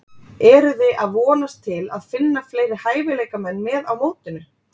Eruði að vonast til að finna fleiri hæfileikamenn með á mótinu?